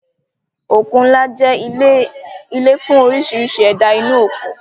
Òkun ńlá jẹ́ ilé fún oríṣiríṣi ẹ̀dá inú òkun